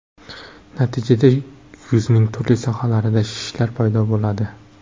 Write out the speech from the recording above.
Natijada yuzning turli sohalarida shishlar paydo bo‘ladi.